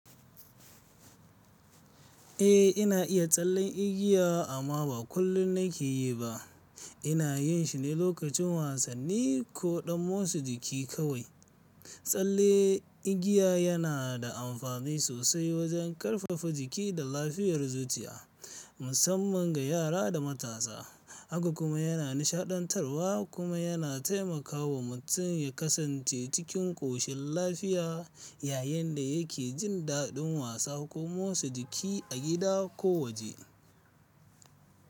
Eh, ina iya tsallen igiya amma ba kullum nake yi ba. Ina yin shi ne lokacin wasanni ko ɗan motsa jiki kawai. Tsalle igiya yana da amfani sosai wajen ƙarfafa jiki da lafiyar zuciya, musamman ga yara da matasa. Haka kuma yana nishaɗantarwa kuma yana taimakawa mutum ya kasance cikin ƙoshin lafiya yayin da yake jin daɗin wasa ko motsa jiki a gida ko waje.